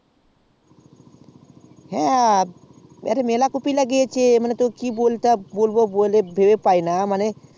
হ্যা এবার মেলা কফি লাগিয়েছে তোকে কি বলবো ভেবে পাইনা